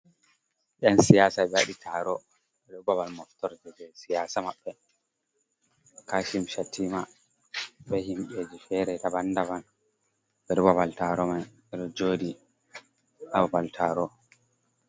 Ain siyasa ɓe waɗi taro be babal moftor je be siyasa maɓɓe kashim shatima be himɓeji fere dandaban ɓeɗo babal taro mai ɓeɗo joɗi hababal taro. Ko